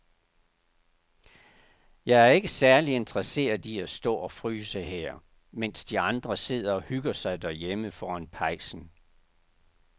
Jeg er ikke særlig interesseret i at stå og fryse her, mens de andre sidder og hygger sig derhjemme foran pejsen.